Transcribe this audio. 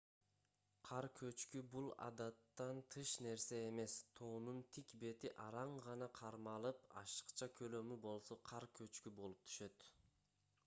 кар көчкү бул адаттан тыш нерсе эмес тоонун тик бети араң гана кармалып ашыкча көлөмү болсо кар көчкү болуп түшөт